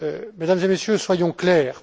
Mesdames et Messieurs, soyons clairs.